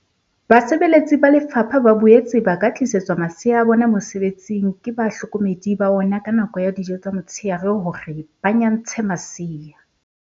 Basebeletsi ba lefapha ba boetse ba ka tlisetswa masea a bona mosebetsing ke bahlo komedi ba ona ka nako ya dijo tsa motsheare hore ba nyantshe masea.